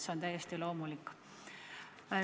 See on täiesti loomulik.